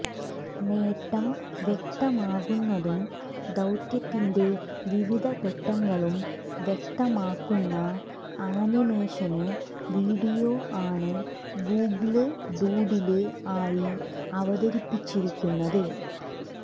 നേട്ടം വ്യക്തമാക്കുന്നതും ദൌത്യത്തിന്റെ വിവിധ ഘട്ടങ്ങളും വ്യക്തമാക്കുന്ന ആനിമേഷന് വീഡിയോ ആണ് ഗൂഗിള് ഡൂഡില് ആയി അവതരിപ്പിച്ചിരിക്കുന്നത്